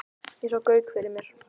Og ég sá Gauk fyrir mér.